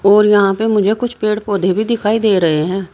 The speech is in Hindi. और यहां पे मुझे कुछ पेड़ पौधे भी दिखाई दे रहे हैं।